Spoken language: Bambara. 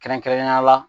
Kɛrɛnkɛrɛnnenya la